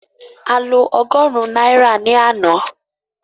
A lo ọgọ́rùn-ún náírà ní àná